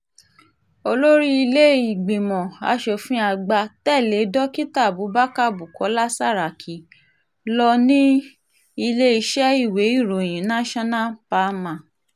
olórí ilé-ìgbìmọ̀ asòfin àgbà tẹ̀lé dókítà abubakar bukola saraki ló ní iléeṣẹ́ ìwé ìròyìn national palma